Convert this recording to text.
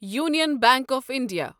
Union Bank of India